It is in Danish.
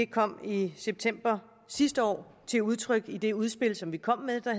kom i september sidste år til udtryk i det udspil som vi kom med og